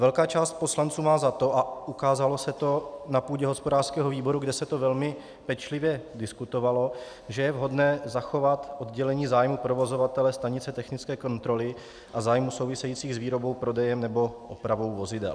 Velká část poslanců má za to, a ukázalo se to na půdě hospodářského výboru, kde se to velmi pečlivě diskutovalo, že je vhodné zachovat oddělení zájmů provozovatele stanice technické kontroly a zájmů souvisejících s výrobou prodeje nebo opravou vozidel.